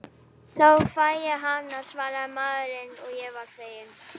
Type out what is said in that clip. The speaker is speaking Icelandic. Þá fæ ég hana, svaraði maðurinn og var feginn.